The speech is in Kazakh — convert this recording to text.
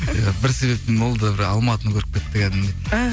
иә бір себеппен ол да бір алматыны көріп кетті кәдімгідей і